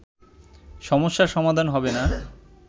সমস্যার সমাধান হবে না